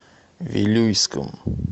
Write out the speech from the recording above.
вилюйском